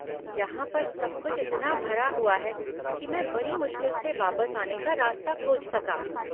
यहाँ पर सब कुछ इतना भरा हुआ है, कि मैं बड़ी मुश्किल से वापस आने का रास्ता खोज सका।